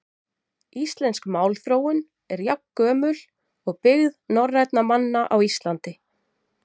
Íslensk málþróun er jafngömul byggð norrænna manna á Íslandi.